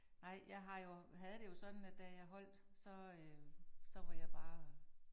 Nej, jeg har jo, havde det jo sådan, at da jeg holdt så øh så var jeg bare